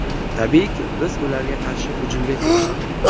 Tabiiyki, biz ularga qarshi hujumga kirishdik.